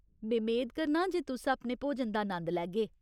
में मेद करनां जे तुस अपने भोजन दा नंद लैगे।